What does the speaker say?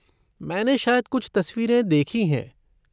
मैंने शायद कुछ तस्वीरें देखीं हैं।